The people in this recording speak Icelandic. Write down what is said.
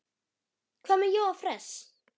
Hvað með Jóa fress?